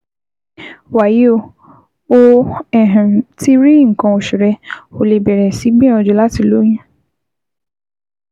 Wàyí o, o um ti rí nǹkan oṣù rẹ, o lè bẹ̀rẹ̀ sí gbìyànjú láti lóyún